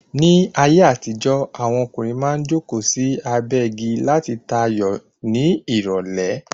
Ní ayé àtijó, Àwọn ọkùnrin maá n joko sí abé igi lati ta ayò ní ìrọ̀lé